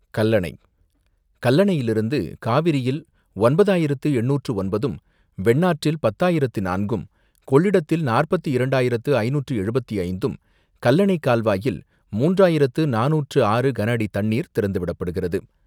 கல்லணை, கல்லணையில் இருந்து காவிரியில் ஒன்பதாயிரத்து என்னூற்று ஒன்பதும், வெண்ணாற்றில் பத்தாயிரத்து நான்கும், கொள்ளிடத்தில் நாற்பத்து இரண்டாயிரத்து ஐநூற்று எழுபத்து ஐந்தாம், கல்லணை கால்வாயில் மூன்று ஆயிரத்து நானுற்று ஆறு கனஅடி தண்ணீர் திறந்துவிடப்படுகிறது.